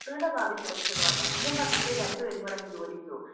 മക്കളുടെ ഭാവി സുരക്ഷിതമാക്കണം എന്നും പറഞ്ഞിട്ട് രണ്ടുപേരും കൂടി അങ്ങ് ജോലിക്ക് പോകും